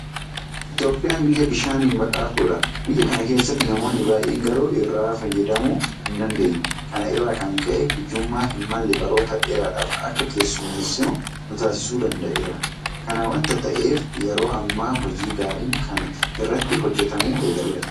Itoophiyaan biyya bishaaniin badhaatuudha. Biyya kana keessatti namoonni baay'een garuu irraa fayyadamuu hindandeenye. Kana irraa kan ka'e hiyyummaa hinmalle baroota dheeraadhaaf akka keessummeessinu nutaasisuu danda'eera. Kana waanta ta'eef yeroo ammaa hojii gaariin kana irratti hojjetamuu eegaleera.